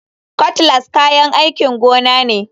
Cutlass kayan aikin gona ne.